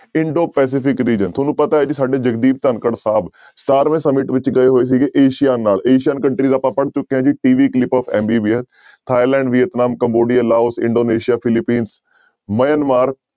Indo Pacific region ਤੁਹਾਨੂੰ ਪਤਾ ਹੈ ਵੀ ਸਾਡੇ ਜਗਦੀਪ ਧਾਕੜ ਸਾਹਿਬ ਸਤਾਰਵੇਂ summit ਵਿੱਚ ਗਏ ਹੋਏ ਸੀਗੇ ਏਸੀਆ ਨਾਲ ਏਸੀਅਨ country ਆਪਾਂ ਪੜ੍ਹ ਚੁੱਕੇ ਹਾਂ ਜੀ TV clip of MBBS Thailand, Vietnam, Cambodia, Laos, Indonesia, Philippine, Myanmar